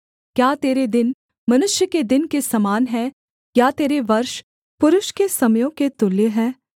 क्या तेरे दिन मनुष्य के दिन के समान हैं या तेरे वर्ष पुरुष के समयों के तुल्य हैं